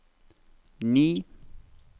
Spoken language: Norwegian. ni